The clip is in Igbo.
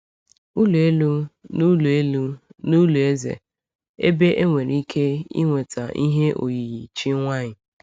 Ụlọ elu n’ụlọ elu n’ụlọ eze, ebe e nwere ike ịnweta ihe oyiyi chi nwanyị.